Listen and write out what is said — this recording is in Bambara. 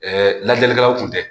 lajɛlikɛlaw kun tɛ